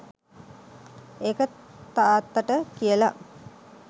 ඒක තාත්තට කියලා